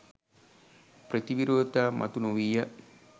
ප්‍රති විරෝධතා මතු නොවීය